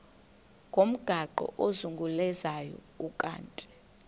ngomgaqo ozungulezayo ukanti